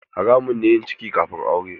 Haramun ne yin ciki kafin aure.